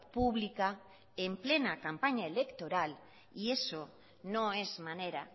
pública en plena campaña electoral y eso no es manera